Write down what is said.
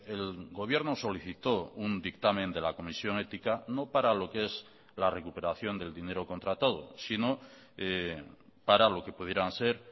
el gobierno solicitó un dictamen de la comisión ética no para lo que es la recuperación del dinero contratado sino para lo que pudieran ser